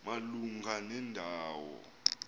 malunga nenda wo